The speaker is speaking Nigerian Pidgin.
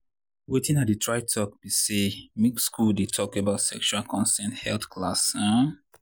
watin i dey try talk be say make school dey talk about sexual consent health class. um